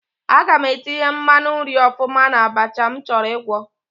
Aga m etinye mmanụ nri ọfụma n'abacha m chọrọ ịgwọ.